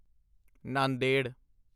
Nanded